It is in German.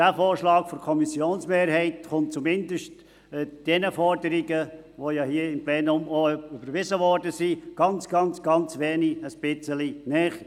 Der Vorschlag der Kommissionsmehrheit kommt zumindest den Forderungen, die hier im Plenum bereits überwiesen wurden, ein ganz kleines Bisschen näher.